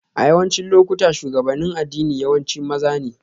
A yawancin lokuta, shugabannin addini yawanci maza ne